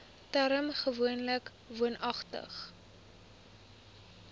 term gewoonlik woonagtig